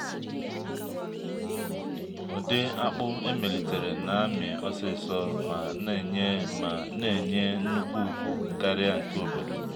ụdị akpụ emelitere na-amị osisor ma na-enye ma na-enye nnukwu ukwu karịa nke obodo.